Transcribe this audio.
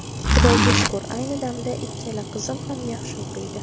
Xudoga shukur, ayni damda ikkala qizim ham yaxshi o‘qiydi.